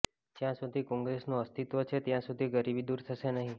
જ્યાં સુધી કોંગ્રેસનું અસ્તિત્વ છે ત્યાં સુધી ગરીબી દૂર થશે નહીં